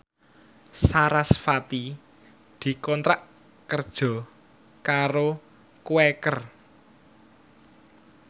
sarasvati dikontrak kerja karo Quaker